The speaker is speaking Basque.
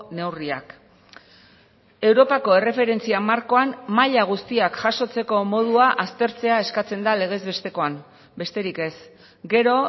neurriak europako erreferentzia markoan maila guztiak jasotzeko modua aztertzea eskatzen da legez bestekoan besterik ez gero